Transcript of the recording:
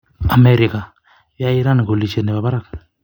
Amerika: Yoe Iran kolisiet nebo barak.